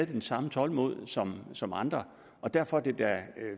det samme tålmod som som andre og derfor er det da